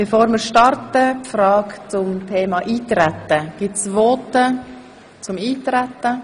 Bevor wir damit starten, eine Frage: Gibt es Voten zum Eintreten?